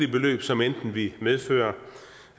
beløb som enten ville medføre